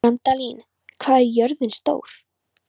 Randalín, hvað er jörðin stór?